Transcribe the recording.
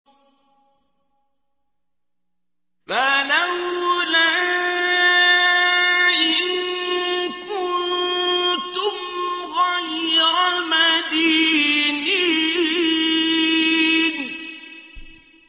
فَلَوْلَا إِن كُنتُمْ غَيْرَ مَدِينِينَ